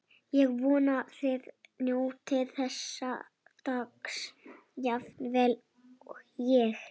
Ég vona þið njótið þessa dags jafn vel og ég.